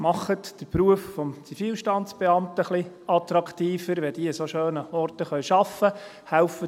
Machen Sie den Beruf des Zivilstandesbeamten etwas attraktiver, indem diese an so schönen Orten arbeiten können.